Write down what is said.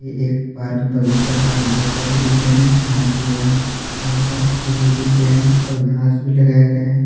ये एक पार्क बगीचा का अंदर का दृश्य है जहा पे यहां बहुत सारे फील्ड दिख रहे हैं और घास भी लगाया गए है।